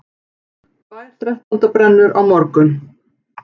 Tvær þrettándabrennur á morgun